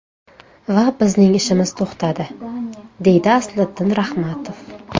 Va bizning ishimiz to‘xtadi”, deydi Asliddin Rahmatov.